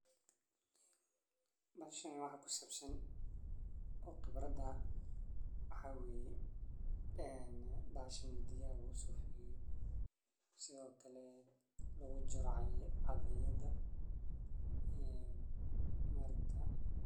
Meshan waxa kusabsan o qibrada ah maxaweye been bahashan biyaha lagusoshotho sithokale lagujaro catheyathaa been markaa